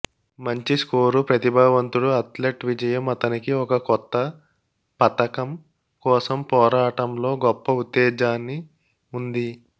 మంచి స్కోరు ప్రతిభావంతుడు అథ్లెట్ విజయం అతనికి ఒక కొత్త పతకం కోసం పోరాటంలో గొప్ప ఉత్తేజాన్ని ఉంది